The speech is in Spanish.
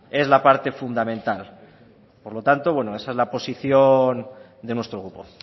es la parte fundamental por lo tanto esa es la posición de nuestro grupo